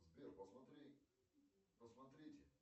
сбер посмотри посмотрите